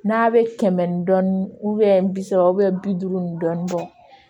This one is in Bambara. N'a bɛ kɛmɛ ni dɔɔnin bi saba bi duuru ni dɔɔnin bɔ